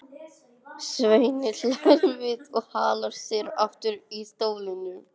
Svenni hlær við og hallar sér aftur í stólnum.